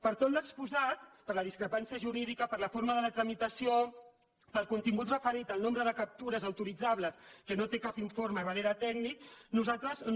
per tot l’exposat per la discrepància jurídica per la forma de la tramitació pel contingut referit al nombre de captures autoritzables que no té cap informe darrere tècnic nosaltres no